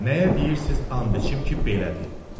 Nəyə deyirsiz and içim ki, belədir.